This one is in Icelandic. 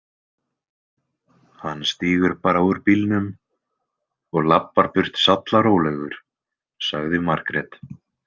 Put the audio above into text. Hann stígur bara úr bílnum og labbar burt sallarólegur, sagði Margrét.